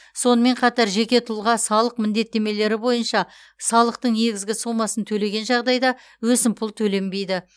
сонымен қатар жеке тұлға салық міндеттемелері бойынша салықтың негізгі сомасын төлеген жағдайда өсімпұл төленбейді